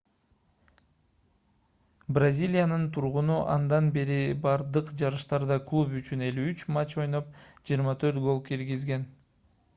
бразилиянын тургуну андан бери бардык жарыштарда клуб үчүн 53 матч ойноп 24 гол киргизген